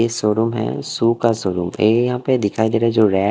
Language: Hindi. ये शोरूम है शुखा का शोरूम ए यहां पे दिखाई दे रहा है जो रेड --